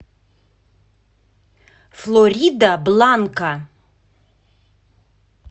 флоридабланка